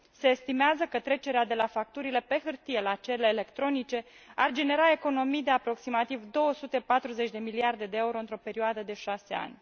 Se estimează că trecerea de la facturile pe hârtie la cele electronice ar genera economii de aproximativ 240 de miliarde de euro într o perioadă de 6 ani.